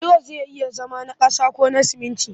Bulo zai iya zama na ƙasa ko sumunti